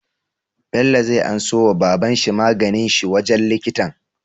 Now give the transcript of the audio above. Bello zai anso wa baban shi maganin shi wajan likitan?